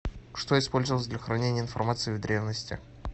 что использовалось для хранения информации в древности